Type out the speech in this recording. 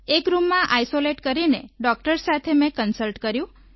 એક રૂમમાં આઈસોલેટ કરીને ડોક્ટર્સ સાથે મેં કન્સલ્ટ કર્યું